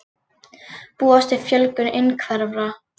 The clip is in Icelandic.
Búast við fjölgun einhverfra